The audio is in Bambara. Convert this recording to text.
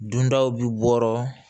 Dundaw bi bɔ